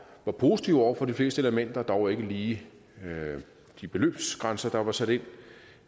var positiv over for de fleste elementer dog ikke lige de beløbsgrænser der var sat ind